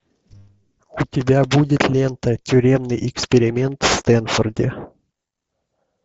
у тебя будет лента тюремный эксперимент в стэнфорде